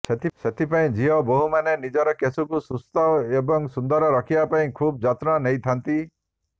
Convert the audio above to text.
ସେଥିପାଇଁ ଝିଅ ବହୁ ମାନେ ନିଜର କେଶକୁ ସୁସ୍ଥ ଏବଂ ସୁନ୍ଦର ରଖିବାପାଇଁ ଖୁବ୍ ଜତ୍ନ ନେଇଥାନ୍ତି